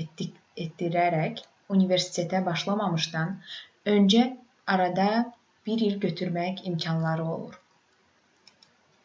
etdirərək universitetə başlamazdan öncə arada bir il götürmək imkanları olur